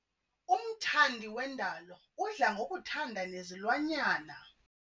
Umthandi wendalo udla ngokuthanda nezilwanyana.